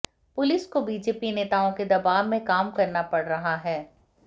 police को BJP नेताओं के दबाव में काम करना पड़ रहा है